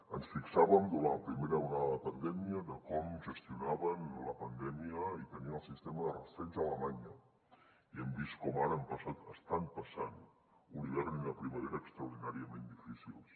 ens fixàvem durant la primera onada de la pandèmia en com gestionaven la pandèmia i tenien el sistema de rastreig a alemanya i hem vist com ara han passat estan passant un hivern i una primavera extraordinàriament difícils